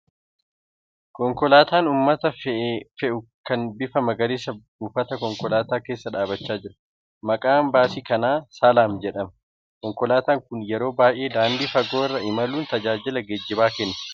Konkolaataan uummata fe'u kan bifa magariisa buufata konkolaataa keessa dhabbachaa jira. Maqaan baasii kanaa ' salaam ' jedhama. Konkolaataan kun yeroo baay'ee daandii fagoo irra imaluun tajaajila geejjibaa kenna .